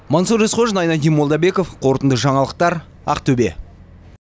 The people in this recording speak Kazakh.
мансұр есқожин айнадин молдабеков қорытынды жаңалықтар ақтөбе